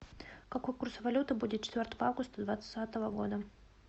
какой курс валюты будет четвертого августа двадцатого года